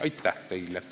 Aitäh teile!